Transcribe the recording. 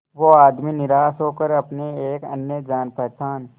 वो आदमी निराश होकर अपने एक अन्य जान पहचान